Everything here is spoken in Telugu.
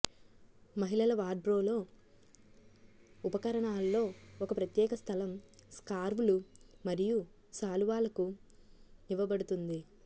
మహిళల వార్డ్రోబ్లో ఉపకరణాల్లో ఒక ప్రత్యేక స్థలం స్కార్వ్లు మరియు శాలువాలకు ఇవ్వబడుతుంది